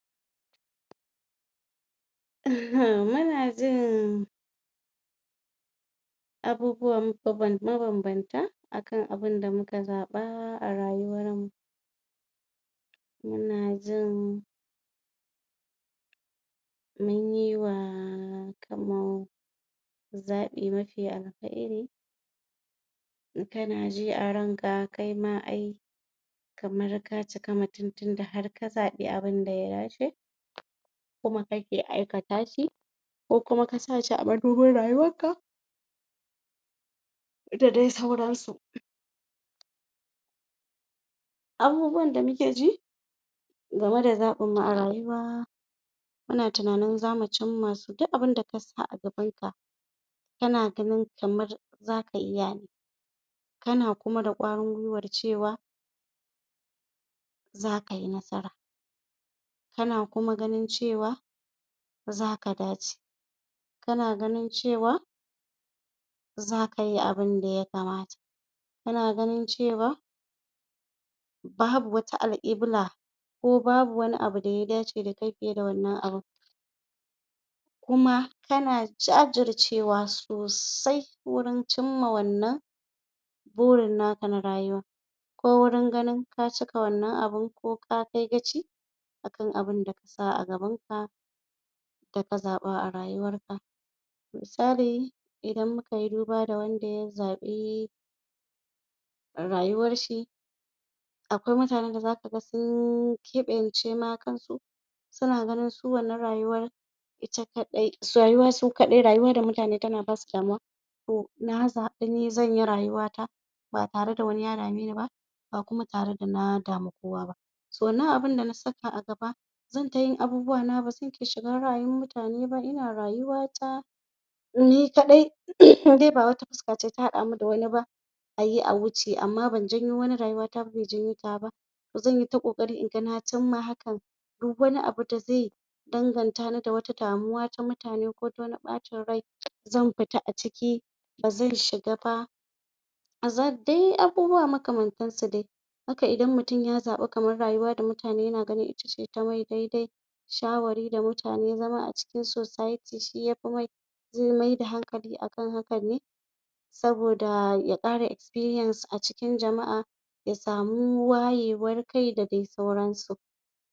ehhmm muna jin abubuwan mabanbanta akan abunda muka zaɓa a rayuwar mu muna jin munyi wa kanmu zaɓi mafi alkhairi kana ji a ranka kaima ai kamar ka cika mutum tunda harka zaɓi abun da ya dace kuma kake aikata shi ko kuma ka sashi a mabubin rayuwar ka da dai sauransu abubuwan da muke ji game da zaɓinmu a rayuwa muna tunanin zamu cimma duk abun da kasa a gabanka kana ganin kamar zaka iya kana kuma da ƙwarin gwiwar cewa za kai nasara kana kuma ganin cewa zaka dace kana ganin cewa zakai abun da ya kamata kana ganin cewa babu wata alƙkibla ko babu wani abu daya dace dakai fiye da wannan abun kuma kana jajircewa sosai gurin cimma wannan burin naka na rayuwa ko gurin ganin ka cika wannan abun ko kakai gaci akan abun da kasa a gaban ka daka zaɓa a rayuwarka misali idan mukai duba da wanda ya zaɓi rayuwar shi akwai mutanen dazakaga sun keɓance ma kansu suna ganin su wannan rayuwar ita kaɗai rayuwa su kaɗai rayuwa da mutane tana basu damuwa to na zaɓi ni zanyi rayuwa ta ba tare da wani ya dame ni ba ba kuma tare da na damu kowa ba to wannan abunda na saka a gaba zan ta yin abubuwana bazan ke shiga rayuwar mutane ba ina rayuwata ni kaɗai indai ba wata fuska ce ta haɗa mu da wani ba ayi a wuce amma ban janyo wani rayuwa ta ba be janyo tawa ba zanyi ta ƙoƙari inga na imma hakan duk wani abu da ze dangantani da wata damuwa ta mutane kota wani ɓacin rai zan fita a ciki bazan shiga ba bazan dai abubuwa makamantansu dai haka idan mutum ya zaɓi kaman rayuwa da mutane yana gani ita ce tamai daidai shawari da mutane zama a cikin society shi yafi mai ze maida hankali akan haka ne saboda ya ƙara expirience a cikin jama'a ya samu wayewar kai da dai sauransu